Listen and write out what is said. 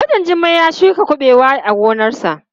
Mijin Jummai ya shuka kuɓewa a gonarsa.